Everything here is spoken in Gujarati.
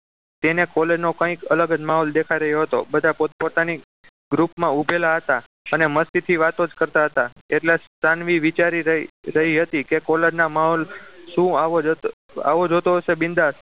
તેને college નો કંઈક અલગ જ દેખાઈ રહ્યો હતો બધા પોતપોતાની group માં ઉભેલા હતા અને મસ્તીથી વાતો જ કરતા હતા એટલા સાનવી વિચારી રહી રહી હતી કે college ના માહોલ શું આવો જ હતો જ હોતો હશે બિન્દાસ